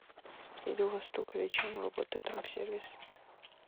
или у вас только вечером работает рум сервис